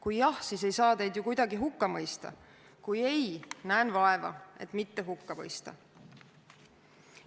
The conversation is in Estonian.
Kui jah, siis ei saa teid kuidagi hukka mõista, kui ei, siis näen vaeva, et mitte hukka mõista.